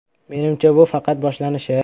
“Menimcha, bu faqat boshlanishi.